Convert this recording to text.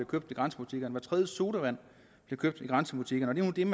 købt i grænsebutikkerne og hver tredje sodavand bliver købt i grænsebutikkerne og det er